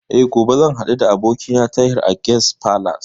Eh, gobe zan haɗu da abokina a Tahir Guest Palace